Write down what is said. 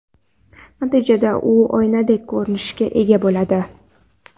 Natijada u oynadek ko‘rinishga ega bo‘ladi.